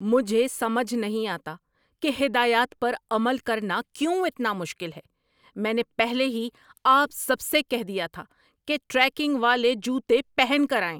مجھے سمجھ نہیں آتا کہ ہدایات پر عمل کرنا کیوں اتنا مشکل ہے۔ میں نے پہلے ہی آپ سب سے کہہ دیا تھا کہ ٹریکنگ والے جوتے پہن کر آئیں۔